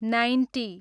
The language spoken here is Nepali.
नाइन्टी